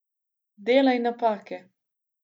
Delaj napake.